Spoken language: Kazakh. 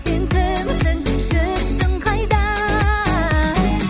сен кімсің жүрсің қайда